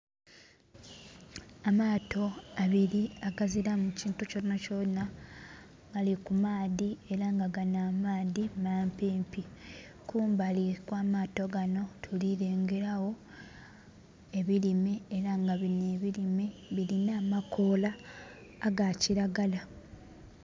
Amaato abili agaziramu kintu kyonakyona gali ku maadhi ela nga gano amaadhi mampimpi. Kumbali kwa maato gano tuli lengela gho ebilime ela nga bino ebilime bilina amakoola aga kilagala.